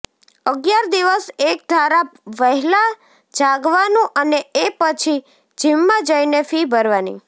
અગિયાર દિવસ એકધારા વહેલાં જાગવાનું અને એ પછી જિમમાં જઈને ફી ભરવાની